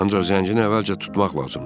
Ancaq zəncini əvvəlcə tutmaq lazımdır.